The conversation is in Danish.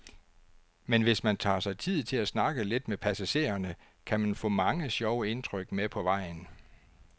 Men hvis man tager sig tid til at snakke lidt med passagererne, kan man få mange sjove indtryk med på vejen.